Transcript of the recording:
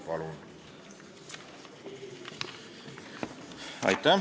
Palun!